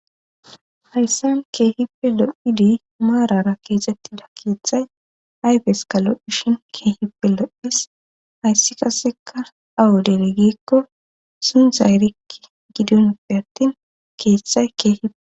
Hayssanan keehippe lo7idi maarara keexettida keeththay ayfes kalodhishin keehippe lo7is hayssi kaseka awu dere gikko sundzay rikki gidonppe attin keeththay keehipee.